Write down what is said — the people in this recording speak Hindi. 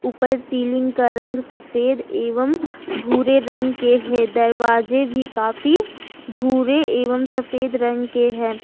ऊपर सीलिंग का रंग सफेद एवं भूरे रंग के है दरवाजे भी काफी भूरे एवं सफेद रंग के है।